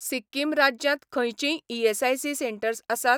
सिक्किम राज्यांत खंयचींय ESIC centres आसात?